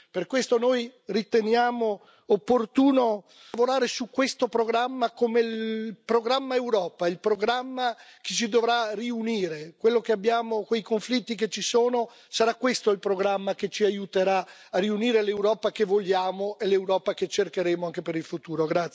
Per questo noi riteniamo opportuno lavorare su questo programma come programma Europa, il programma che ci dovrà riunire a prescindere dai conflitti che ci sono. Sarà questo il programma che ci aiuterà a riunire l'Europa che vogliamo e l'Europa che cercheremo anche per il futuro.